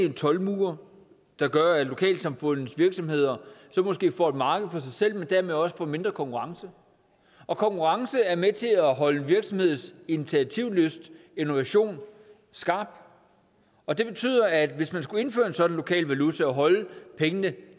en toldmur der gør at lokalsamfundets virksomheder måske får et marked for sig selv men dermed også får mindre konkurrence og konkurrence er med til at holde en virksomheds initiativlyst og innovation skarp og det betyder at hvis man skulle indføre en sådan lokal valuta og holde pengene